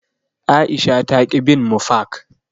Aisha taƙi bin mu fak.